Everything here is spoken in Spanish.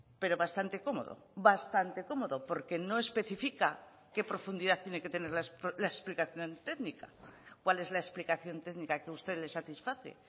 pero bastante cómodo bastante cómodo porque no especifica qué profundidad tiene que tener la explicación técnica cuál es la explicación técnica que usted le satisface